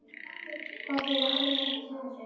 Hvað áttu eiginlega við með þessu?